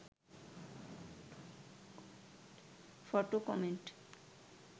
photo comment